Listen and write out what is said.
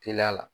Teliya la